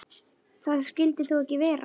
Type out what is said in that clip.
Það skyldi þó ekki vera.